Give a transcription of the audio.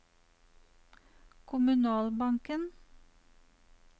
kommunalbanken